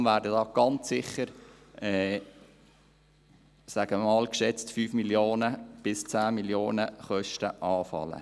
Deshalb werden hier ganz sicher – ich sage einmal – geschätzte 5 bis 10 Mio. Franken Kosten anfallen.